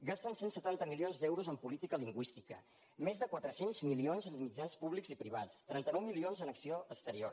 gasten cent i setanta milions d’euros en política lingüística més de quatre cents milions en mitjans públics i privats trenta nou milions en acció exterior